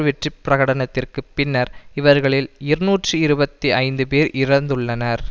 வெற்றி பிரகடனத்திற்குப் பின்னர் இவர்களில் இருநூற்றி இருபத்தி ஐந்து பேர் இறந்துள்ளனர்